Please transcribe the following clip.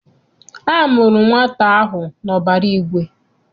A mụrụ nwata ahụ n'ọbara igwe.